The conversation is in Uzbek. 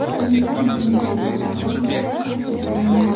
Birinchidan, metall faqat bir marta hosil qilindi.